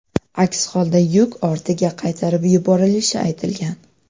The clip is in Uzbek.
Aks holda yuk ortiga qaytarib yuborilishi aytilgan.